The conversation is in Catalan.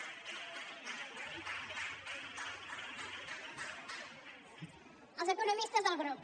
els economistes del grup